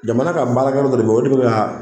Jamana ka baarakɛ dɔ de bɛ yan.